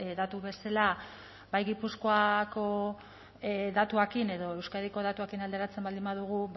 datu bezala bai gipuzkoako datuekin edo euskadiko datuekin alderatzen baldin badugu